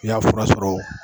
N'i y'a fura sɔrɔ